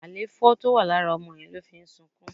Alefo tó wà lára ọmọ yẹn ló ń fí sunkún